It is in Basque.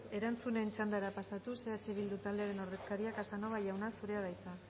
erantzunen txandara pasatuz eh bildu taldearen ordezkaria casanova jauna zurea da hitza